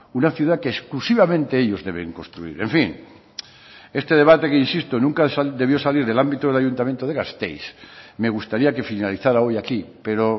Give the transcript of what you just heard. una ciudad que exclusivamente ellos deben construir en fin este debate que insisto nunca debió salir del ámbito del ayuntamiento de gasteiz me gustaría que finalizara hoy aquí pero